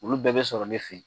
Olu bɛɛ bɛ sɔrɔ ne fɛ yen